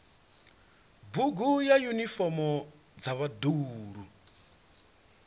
bugu na yunifomo dza vhaḓuhulu